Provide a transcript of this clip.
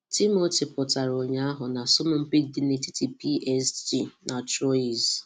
Timothy pụtara ụnyaahụ na asọmpi dị n'etiti PSG dị n'etiti PSG na Troyes.